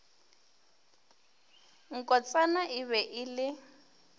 nkotsana e be e le